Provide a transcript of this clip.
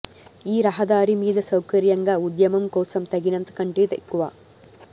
ఈ రహదారి మీద సౌకర్యంగా ఉద్యమం కోసం తగినంత కంటే ఎక్కువ